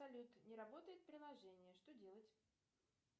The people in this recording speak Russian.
салют не работает приложение что делать